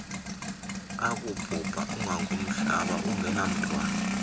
akubhubha ungangomhlaba engenamntwana